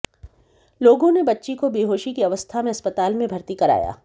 लोगों ने बच्ची को बेहोशी की अवस्था में अस्पताल में भर्ती कराया